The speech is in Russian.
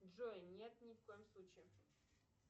джой нет ни в коем случае